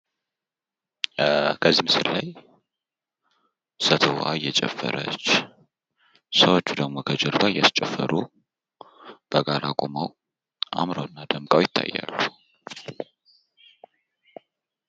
ከዚህ ምስል ላይ ሴትየዋ እየጨፈረች ሰዎቹ ደሞ ከጀርባ እያስጨፈሩ በጋራ ቁመዉ አምረዉ እና ደምቀዉ ይታያሉ፡፡